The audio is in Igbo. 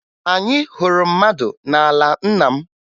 Anyị hụrụ mmanụ n'ala nna m